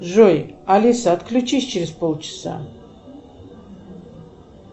джой алиса отключись через полчаса